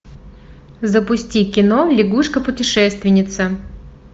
запусти кино лягушка путешественница